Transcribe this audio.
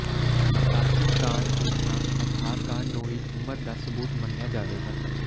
ration card ਦੀ ਥਾਂ Aadhaar card ਨੂੰ ਹੀ ਉਮਰ ਦਾ ਸਬੂਤ ਮੰਨਿਆ ਜਾਵੇਗਾ